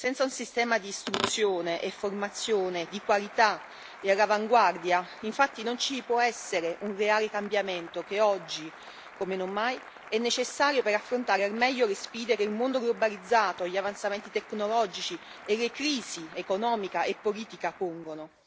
Senza un sistema di istruzione e formazione di qualità e all'avanguardia, infatti, non ci può essere un reale cambiamento che oggi, come non mai, è necessario per affrontare al meglio le sfide che il mondo globalizzato, gli avanzamenti tecnologici e le crisi economica e politica pongono.